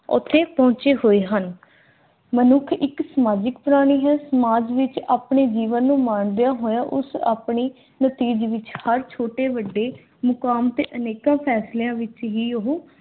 ਓਥੇ ਪਹੁੰਚੇ ਹੋਏ ਹਨ। ਮਨੁੱਖ ਇੱਕ ਸਮਾਜਿਕ ਪ੍ਰਾਣੀ ਹੈ। ਸਮਾਜ ਵਿੱਚ ਆਪਣੇ ਜੀਵਨ ਨੂੰ ਮਾਣਦਿਆਂ ਹੋਇਆ ਉਸ ਆਪਣੀ ਵਿੱਚ ਹਰ ਛੋਟੇ ਵੱਡੇ ਮੁਕਾਮ ਤੇ ਅਨੇਕਾਂ ਫੈਸਲਿਆਂ ਵਿੱਚ ਹੀ ਉਹ